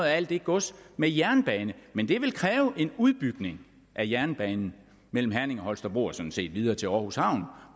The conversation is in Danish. af alt det gods med jernbane men det vil kræve en udbygning af jernbanen mellem herning og holstebro og sådan set videre til aarhus havn